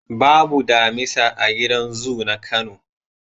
Babu damisa a gidan zu na Kano.